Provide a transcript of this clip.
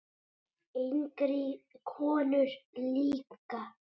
Engri konu lík.